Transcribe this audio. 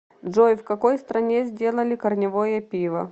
джой в какой стране сделали корневое пиво